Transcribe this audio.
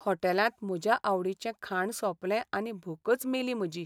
हॉटेलांत म्हज्या आवडीचें खाण सोंपलें आनी भूकच मेली म्हजी.